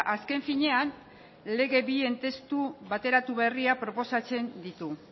azken finean lege bien testu bateratu berria proposatzen ditu